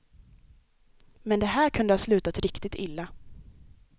Men det här kunde ha slutat riktigt illa.